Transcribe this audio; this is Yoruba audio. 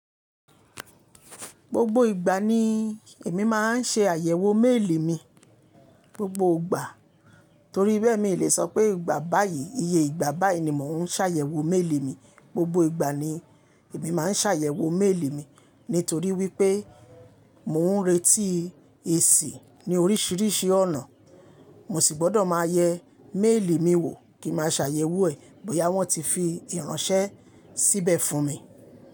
Gbogbo ìgbà ni èmi máa ń ṣe àyẹ̀wò méèlì mi, gbogbo ìgbà. Torí bẹ́ẹ̀ mi lè sọ pé ìgbà báyìí, iye ìgbà báyìí ni mò ń ṣàyẹ̀wò méèlì mi. Gbogbo ìgbà ni èmi máa ń ṣàyẹ̀wò méèlì mi, nítorí wípé mò ń retí èsì ní oríṣiríṣi ọ̀nà. Mo sì gbọ́dọ̀ máa yẹ méèlì mi wò kí n ma ṣàyẹ̀wò ẹ̀ bóyá wọ́n ti fi ìránṣẹ́ síbẹ̀ fún mi.